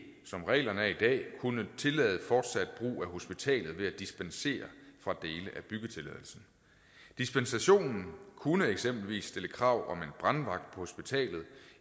som reglerne er i dag kunne tillade fortsat brug af hospitalet ved at dispensere fra dele af byggetilladelsen dispensationen kunne eksempelvis stille krav om en brandvagt på hospitalet